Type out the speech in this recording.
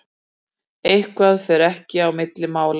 Eitthvað fer ekkert á milli mála